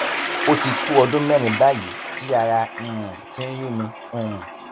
ó ti tó ọdún mẹrin báyìí tí ará um ti ń yún mi um